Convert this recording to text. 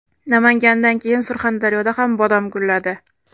Namangandan keyin Surxondaryoda ham bodom gulladi .